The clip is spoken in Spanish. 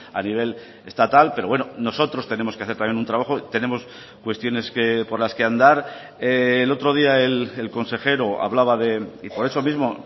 a nivel estatal pero bueno nosotros tenemos que hacer también un trabajo tenemos cuestiones por las que andar el otro día el consejero hablaba y por eso mismo